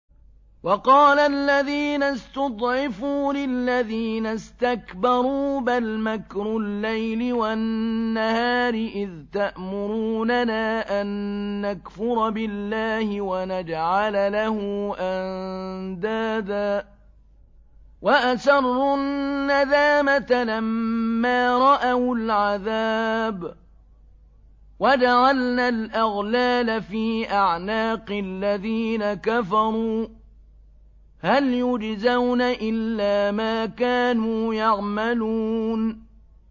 وَقَالَ الَّذِينَ اسْتُضْعِفُوا لِلَّذِينَ اسْتَكْبَرُوا بَلْ مَكْرُ اللَّيْلِ وَالنَّهَارِ إِذْ تَأْمُرُونَنَا أَن نَّكْفُرَ بِاللَّهِ وَنَجْعَلَ لَهُ أَندَادًا ۚ وَأَسَرُّوا النَّدَامَةَ لَمَّا رَأَوُا الْعَذَابَ وَجَعَلْنَا الْأَغْلَالَ فِي أَعْنَاقِ الَّذِينَ كَفَرُوا ۚ هَلْ يُجْزَوْنَ إِلَّا مَا كَانُوا يَعْمَلُونَ